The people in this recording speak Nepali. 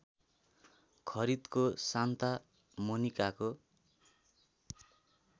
खरिदको सान्ता मोनिकाको